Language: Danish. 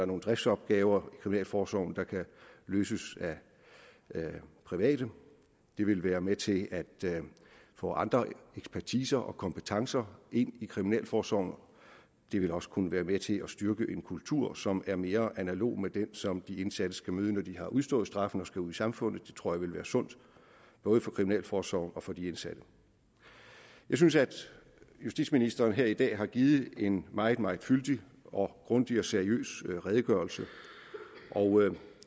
nogle driftsopgaver i kriminalforsorgen der kan løses af private det ville være med til at få andre ekspertiser og kompetencer ind i kriminalforsorgen det ville også kunne være med til at styrke en kultur som er mere analog med den som de indsatte skal møde når de har udstået straffen og skal ud i samfundet det tror jeg ville være sundt både for kriminalforsorgen og for de indsatte jeg synes at justitsministeren her i dag har givet en meget meget fyldig og grundig og seriøs redegørelse og